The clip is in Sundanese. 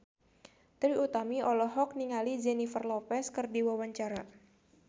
Trie Utami olohok ningali Jennifer Lopez keur diwawancara